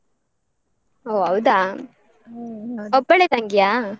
ಹೊ ಹೌದಾ? ಒಬ್ಬಳೆ ತಂಗಿಯಾ?